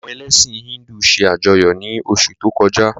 Àwọn elẹ̀sin Híndù se ajọyọ ni osu to koja.